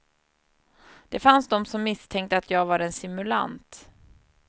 Det fanns de som misstänkte jag var en simulant.